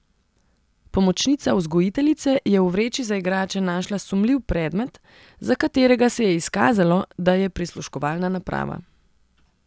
Pomočnica vzgojiteljice je v vreči za igrače našla sumljiv predmet, za katerega se je izkazalo, da je prisluškovalna naprava.